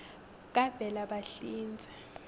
kavelabahlinze